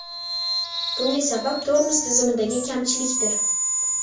Bunga sabab tormoz tizimidagi kamchilikdir.